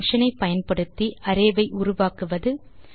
array function ஐ பயன்படுத்தி array ஐ உருவாக்குவது